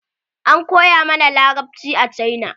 An koya mana larabci a cina.